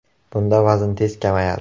Bunda vazn tez kamayadi.